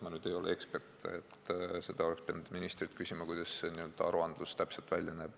Aga ma ei ole ekspert, seda oleks pidanud küsima ministrilt, et kuidas see aruandlus täpselt välja näeb.